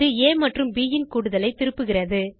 இது ஆ மற்றும் ப் ன் கூடுதலை திருப்புகிறது